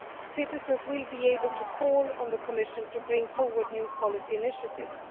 Citizens will be able to call on the Commission to bring forward new policy initiatives.